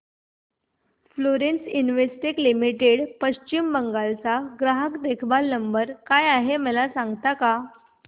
Florence Investec Limited Paschim Bengal चा ग्राहक देखभाल नंबर काय आहे मला सांगता का